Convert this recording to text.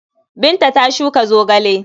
Binta ta shuka zogale.